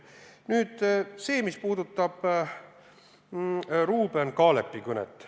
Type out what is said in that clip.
Nüüd sellest, mis puudutab Ruuben Kaalepi kõnet.